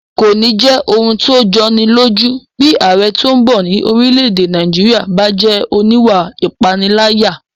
Kò ní jẹ́ ohun tó jọni lójú bí ààrẹ tó bọ̀ ní orílẹ̀-èdè Nàìjíríyà bá jẹ́ oníwà ìpániláyà